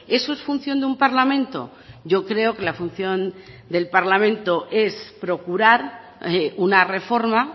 eso es función de un parlamento yo creo que la función del parlamento es procurar una reforma